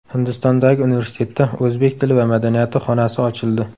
Hindistondagi universitetda o‘zbek tili va madaniyati xonasi ochildi.